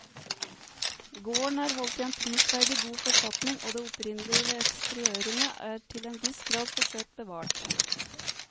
Gården er holdt i en prisverdig god forfatning og det opprinnelige ved eksteriørene er til en viss grad forsøkt bevart.